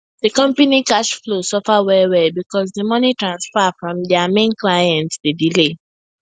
di company cash flow suffer wellwell because di money transfer from dia main client dey delay